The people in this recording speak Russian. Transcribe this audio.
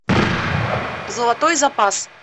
золотой запас